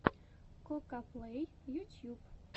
кокаплей ютьюб